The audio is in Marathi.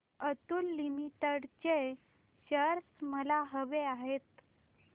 अतुल लिमिटेड चे शेअर्स मला हवे आहेत